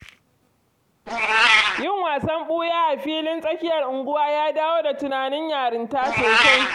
Yin wasan ɓuya a filin tsakiyar unguwa ya dawo da tunanin yarinta sosai.